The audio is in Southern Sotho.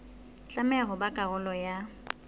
tlameha ho ba karolo ya